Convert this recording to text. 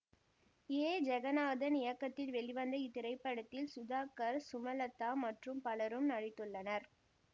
ஏ ஜெகநாதன் இயக்கத்தில் வெளிவந்த இத்திரைப்படத்தில் சுதாகர் சுமலதா மற்றும் பலரும் நடித்துள்ளனர்